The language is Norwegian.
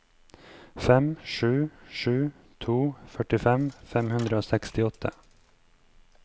fem sju sju to førtifem fem hundre og sekstiåtte